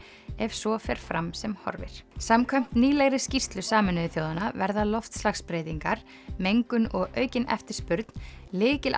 ef svo fer fram sem horfir samkvæmt nýlegri skýrslu Sameinuðu þjóðanna verða loftslagsbreytingar mengun og aukin eftirspurn